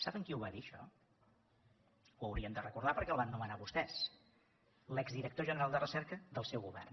saben qui ho va dir això ho haurien de recordar perquè el van nomenar vostès l’exdirector general de recerca del seu govern